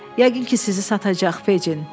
Yəqin ki, sizi satacaq, Fecin.